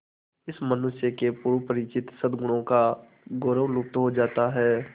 इस मनुष्य के पूर्व परिचित सदगुणों का गौरव लुप्त हो जाता है